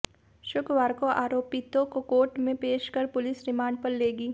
शुक्रवार को आरोपितों को कोर्ट में पेश कर पुलिस रिमांड पर लेगी